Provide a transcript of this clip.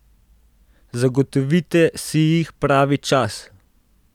Zagotovite si jih pravi čas!